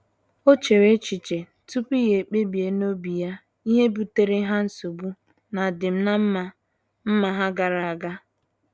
O chere echiche tupu o kpebie n'obi ya ihe butere ha nsogbu n'adim na mma mma ha gara aga.